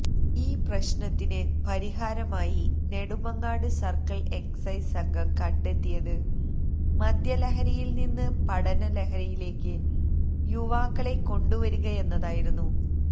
ഈ പ്രശ്നത്തിന് പരിഹാരമായി നെടുമങ്ങാട് സര്ക്കിള് എക്സൈസ് സംഘം കണ്ടെത്തിയത് മദ്യലഹരിയില് നിന്ന് പഠനലഹരിയിലേക്ക് യുവാക്കളെ കൊണ്ടുവരികയെന്നതായിരുന്നു